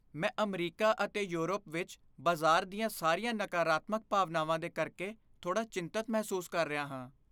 ਮੈਂ ਅਮਰੀਕਾ ਅਤੇ ਯੂਰਪ ਵਿੱਚ ਬਾਜ਼ਾਰ ਦੀਆਂ ਸਾਰੀਆਂ ਨਕਾਰਾਤਮਕ ਭਾਵਨਾਵਾਂ ਦੇ ਕਰਕੇ ਥੋੜ੍ਹਾ ਚਿੰਤਿਤ ਮਹਿਸੂਸ ਕਰ ਰਿਹਾ ਹਾਂ।